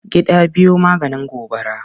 Gida biyu maganin gobara.